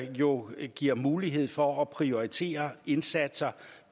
jo giver mulighed for at prioritere indsatser